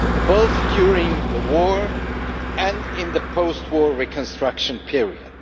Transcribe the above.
both during the war and in the post war reconstruction period.